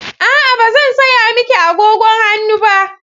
A'a, ba zan saya miki agogon hannu ba.